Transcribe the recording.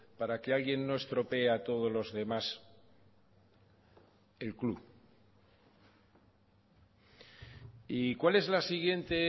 para que alguien no estropee a todos los demás el club y cuál es la siguiente